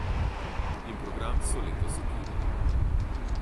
In program so letos ukinili.